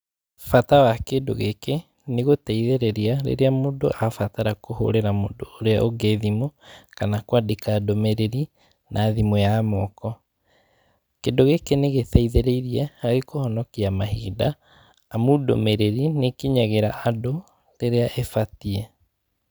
Bata wa kĩndũ gĩkĩ, nĩ gũteithĩrĩria, rĩrĩa mũndũ abatara kũhũrĩra mũndũ ũrĩa ũngĩ thimũ, kana kwandĩka ndũmĩrĩri, na thimũ ya moko, kĩndũ gĩkĩ nĩ gĩteithĩrĩirie harĩ kũhonokia mahinda, amu ndũmĩrĩri, nĩ ĩkinyagĩra andũ, rĩrĩa ĩbatiĩ.